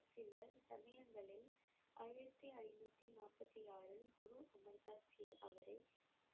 சில சமயங்களில் ஆயிரத்தி ஐநூத்தி நாற்பத்தி ஆறில் குரு அமர் தாஸ் ஜி அவரை